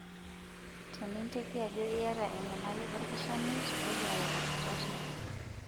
Teninteki ajo iyata enyamali olkishamiet, toduare olkitarri.